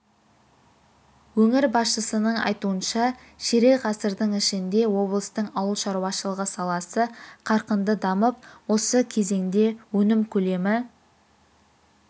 өңір басшысының айтуынша ширек ғасырдың ішінде облыстың ауыл шаруашылығы саласы қарқынды дамып осы кезеңде өнім көлемі